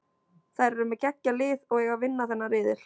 Þær eru með geggjað lið og eiga að vinna þennan riðil.